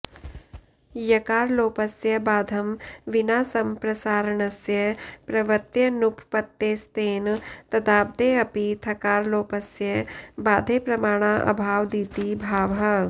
यकारलोपस्य बाधं विना संप्रसारणस्य प्रवृत्त्यनुपपत्तेस्तेन तद्बाधेऽपि थकारलोपस्य बाधे प्रमाणाऽभावादिति भावः